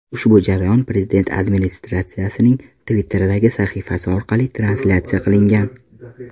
Ushbu jarayon prezident Administratsiyasining Twitter’dagi sahifasi orqali translyatsiya qilingan .